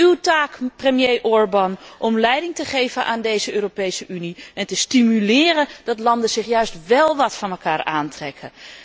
Het is uw taak, premier Orbán, om leiding te geven aan deze Europese Unie en te stimuleren dat landen zich juist wél wat van elkaar aantrekken.